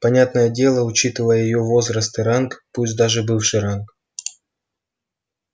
понятное дело учитывая её возраст и ранг пусть даже бывший ранг